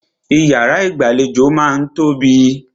Ìyàrá ìgbàlejò máà ń tóbi.